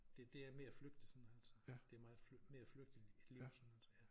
Det det er mere flygtigt sådan altså et er meget mere flygtigt at leve sådan ja